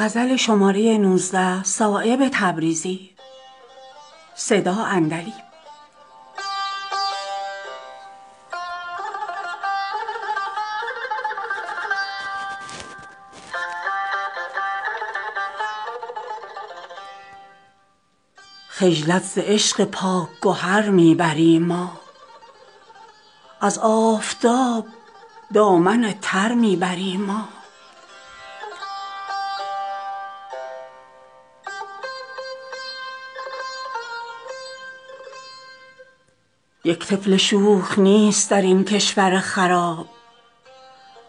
خجلت ز عشق پاک گهر می بریم ما از آفتاب دامن تر می بریم ما یک طفل شوخ نیست درین کشور خراب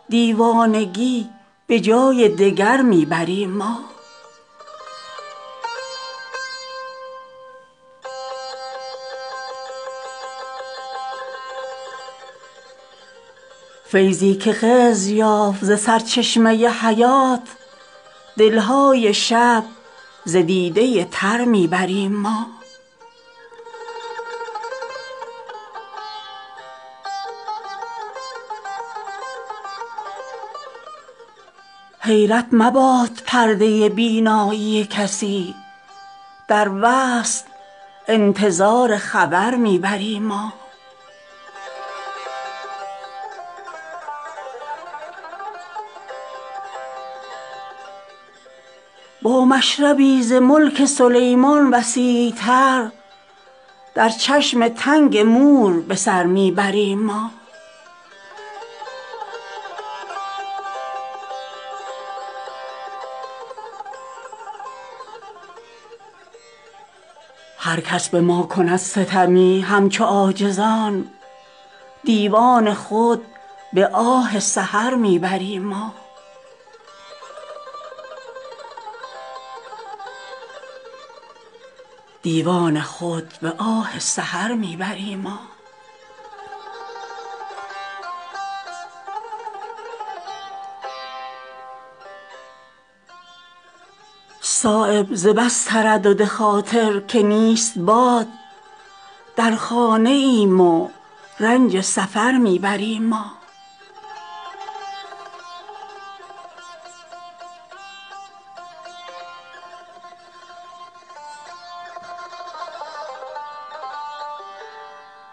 دیوانگی به جای دگر می بریم ما تا کی خمار سنگ ملامت توان کشید زین شهر رخت خویش بدر می بریم ما فیضی که خضر یافت ز سرچشمه حیات دلهای شب ز دیده تر می بریم ما حیرت مباد پرده بینایی کسی در وصل انتظار خبر می بریم ما با مشربی ز ملک سلیمان وسیع تر در چشم تنگ مور بسر می بریم ما آسودگی مقدمه خواب غفلت است کشتی به موج خیز خطر می بریم ما هر کس به ما کند ستمی همچو عاجزان دیوان خود به آه سحر می بریم ما صایب ز بس تردد خاطر که نیست باد در خانه ایم و رنج سفر می بریم ما